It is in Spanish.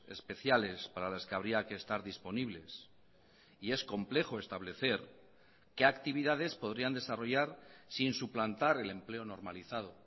especiales para las que habría que estar disponibles y es complejo establecer qué actividades podrían desarrollar sin suplantar el empleo normalizado